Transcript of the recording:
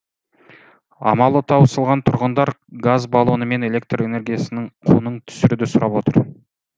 амалы таусылған тұрғындар газ баллоны мен электр энергиясының құнын түсіруді сұрап отыр